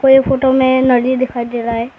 ये फोटो में नदी दिखाई दे रहा है।